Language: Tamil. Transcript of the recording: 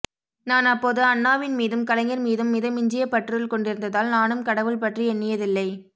நான் அப்போது அண்ணாவின் மீதும் கலைஞர் மீதும் மித மிஞ்சிய பற்றுதல் கொண்டிருந்ததால் நானும் கடவுள் பற்றி எண்ணியதில்லை